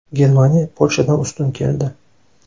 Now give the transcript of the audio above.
Germaniya Polshadan ustun keldi.